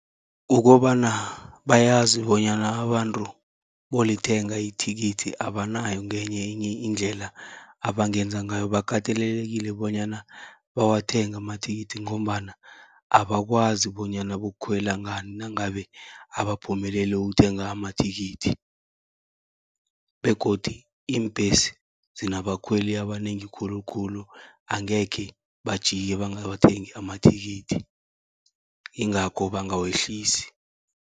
Ukobana bayazi bonyana abantu bayolithenga ithikithi, abanayo ngenye enye indlela abangenza ngayo. Bakatelelekile bonyana bawathenge amathikithi, ngombana abakwazi bonyana bayokukhwela ngani nangabe abaphumeleli ukuthenga amathikithi. Begodu iimbhesi zinabakhweli abanengi khulukhulu, angekhe bajike bangawathengi amathikithi ingakho bangawehlisi.